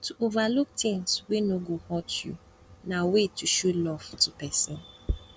to overlook things wey no go hurt you na way to show love to persin